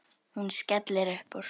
Hún skellir upp úr.